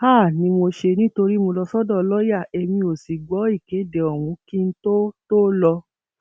háà ni mo ṣe nítorí mo lọ sọdọ lọọyà èmi ò sì gbọ ìkéde ọhún kí n tóó tóó lọ